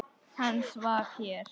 Hann svaf hér.